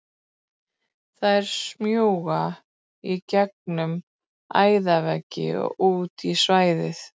Þær smjúga í gegnum æðaveggi og út í svæðið.